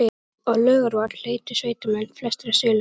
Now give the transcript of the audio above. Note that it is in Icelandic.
Á Laugarvatn leituðu sveitamenn, flestir af Suðurlandi